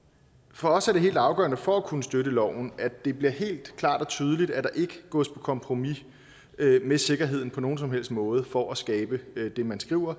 for os er det helt afgørende for at kunne støtte loven at det bliver helt klart og tydeligt at der ikke gås på kompromis med sikkerheden på nogen som helst måde for at skabe det man skriver